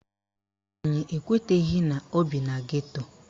Anyị ekweteghi na ọ bi na geto